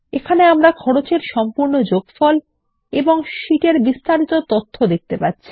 আমরা খরচ এর অধীনে তথ্যর গ্রান্ডটোটাল ও শীট বিস্তারিত দেখতে পারি